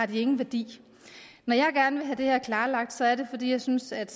ingen værdi når jeg gerne vil have det her klarlagt er det fordi jeg synes at